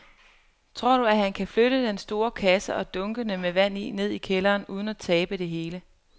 Tror du, at han kan flytte den store kasse og dunkene med vand ned i kælderen uden at tabe det hele?